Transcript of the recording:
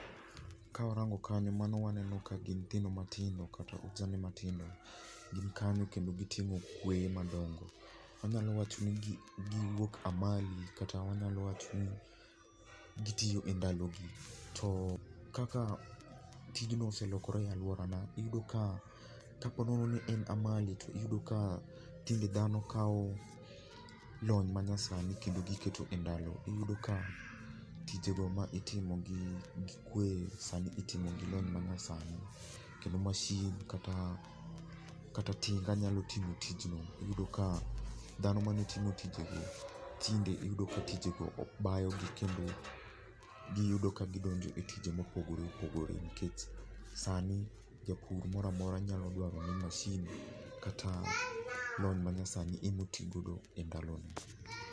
Ka warango kani, mano waneno ka gin nyithindo matindo kata ojande matindo, gin kanyo kendo giting'o kweye madongo. Anyalo wacho ni giwuok a mile kata wanyalo wacho ni gitiyo e ndalogi. To kaka tijno oselokore e alworana, iyudo ka kaponono ni in amali, to tinde dhano kawo lony manyasani kendo giketo e ndalo. Iyudo ka tijego ma itimo gi kwe sani itimo gi lony manyasani, kendo masin kata tinga nyalo timo tichno, iyudo ka dhano mane timo tijegi, tinde iyudo ka tijego bayogi ,kendo giyudo ka gidonjo e tije mopogore opogore nikech sani japur mora mora nyalo dwaro ni masin kata lony manyasani ema otigodo e ndalone.